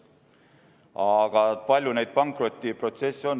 Aga palju neid pankrotiprotsesse on?